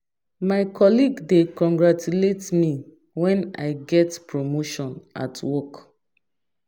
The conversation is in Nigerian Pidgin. My colleague dey congratulate me when I get promotion at work.